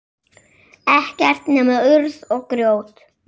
Ekkert nema urð og grjót.